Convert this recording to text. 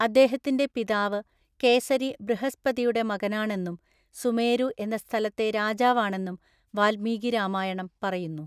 അദ്ദേഹത്തിന്റെ പിതാവ് കേസരി ബൃഹസ്പതിയുടെ മകനാണെന്നും സുമേരു എന്ന സ്ഥലത്തെ രാജാവാണെന്നും വാൽമീകി രാമായണം പറയുന്നു.